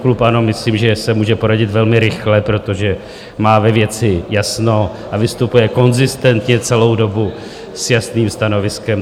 Klub ANO, myslím, že se může poradit velmi rychle, protože má ve věci jasno a vystupuje konzistentně celou dobu s jasným stanoviskem.